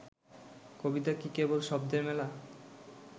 কবিতা কি কেবল শব্দের মেলা